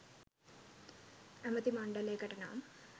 ඇමති මණ්ඩලයකට නම්